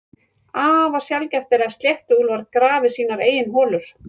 Afar sjaldgæft er að sléttuúlfar grafi sínar eigin holur.